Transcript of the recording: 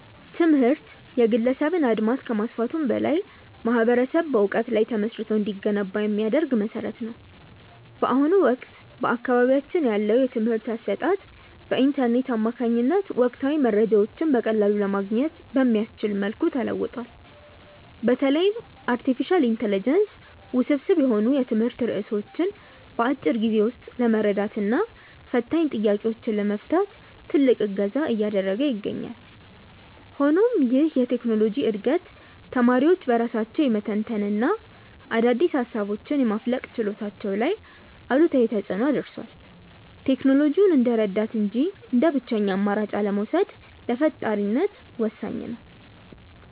ትምህርት የግለሰብን አድማስ ከማስፋቱም በላይ ማኅበረሰብ በዕውቀት ላይ ተመስርቶ እንዲገነባ የሚያደርግ መሠረት ነው። በአሁኑ ወቅት በአካባቢያችን ያለው የትምህርት አሰጣጥ በኢንተርኔት አማካኝነት ወቅታዊ መረጃዎችን በቀላሉ ለማግኘት በሚያስችል መልኩ ተለውጧል። በተለይም አርቲፊሻል ኢንተለጀንስ ውስብስብ የሆኑ የትምህርት ርዕሶችን በአጭር ጊዜ ውስጥ ለመረዳትና ፈታኝ ጥያቄዎችን ለመፍታት ትልቅ እገዛ እያደረገ ይገኛል። ሆኖም ይህ የቴክኖሎጂ ዕድገት ተማሪዎች በራሳቸው የመተንተንና አዳዲስ ሃሳቦችን የማፍለቅ ችሎታቸው ላይ አሉታዊ ተፅእኖ አድርሷል። ቴክኖሎጂውን እንደ ረዳት እንጂ እንደ ብቸኛ አማራጭ አለመውሰድ ለፈጣሪነት ወሳኝ ነው።